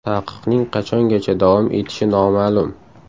Taqiqning qachongacha davom etishi noma’lum.